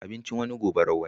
Abincin wani gubar wani